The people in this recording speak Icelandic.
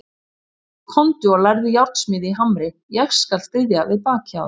Komdu og lærðu járnsmíði í Hamri, ég skal styðja við bakið á þér.